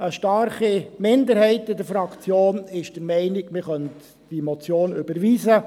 Eine starke Minderheit der Fraktion ist der Meinung, man könne diese Motion überweisen.